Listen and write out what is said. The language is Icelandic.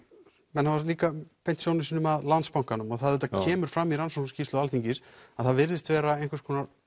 menn hafa líka beint sjónum sínum að Landsbankanum og það auðvitað kemur fram í rannsóknarskýrslu Alþingis að það virðast vera einhvers konar